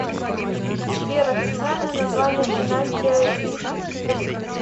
сбер официальное название династия сефевидов